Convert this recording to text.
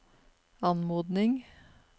anmodning